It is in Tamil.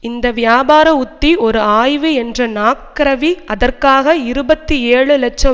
இந்த வியாபார உத்தி ஒரு ஆய்வு என்ற நாக்ரவி அதற்காக இருபத்தி ஏழு லட்சம்